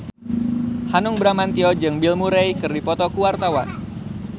Hanung Bramantyo jeung Bill Murray keur dipoto ku wartawan